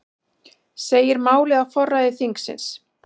Segir málið á forræði þingsins